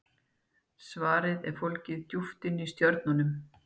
svarið er fólgið djúpt inni í stjörnunum